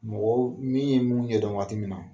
Mɔgɔ min ye mun ɲɛdɔn waati min na.